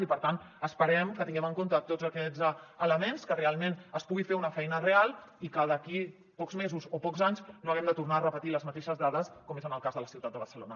i per tant esperem que tinguem en compte tots aquests elements que realment es pugui fer una feina real i que d’aquí pocs mesos o pocs anys no haguem de tornar a repetir les mateixes dades com és en el cas de la ciutat de barcelona